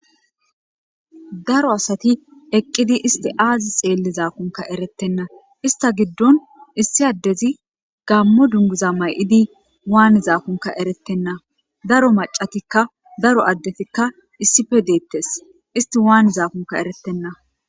daro asati eqqidi isti aazi xeelli zaakunka erettenna ista giddon issi addezi gammo dungiza may7idi waani zaakunka erettenna daro macatikka daro addetikka issife deettes isti waani zaakunka erettenna